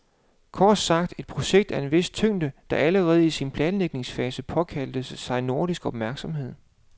Kort sagt, et projekt af en vis tyngde, der allerede i sin planlægningsfase påkaldte sig nordisk opmærksomhed.